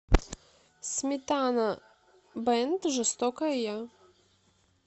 сметана бэнд жестокая я